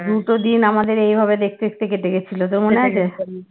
দুটো দিন আমাদের এইভাবে দেখতে দেখতে কেটে গেছিল তোর মনে আছে?